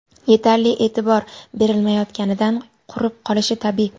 yetarli e’tibor berilmayotganidan qurib qolishi tabiiy.